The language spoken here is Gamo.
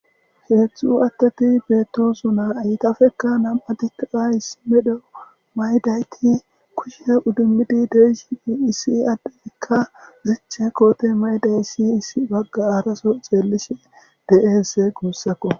Heetzhxu attati betosu naa aytafekka nam'atikaayis medho maydayti kushe uddummidi deishii issi addeikka zeche koote maydayissi issi bagga araso xeellishe deese guussako.